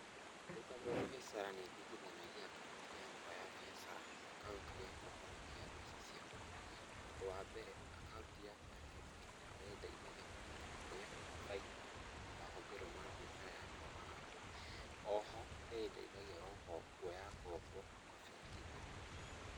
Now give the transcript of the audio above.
Ndĩ ta mũbiacara nĩ ndigithanagia akaunti yakwa ya biacara na akaunti ya kũhonokia mbeca ciakwa. Ũndũ wa mbere akaunti yakwa a biacara nĩ ĩndeithagia kũmenya kũrĩa baida na mahũthĩro ma biacara yakwa marathiĩ. O ho, nĩ ĩndeithagia kũoya ngobo mabengi-inĩ.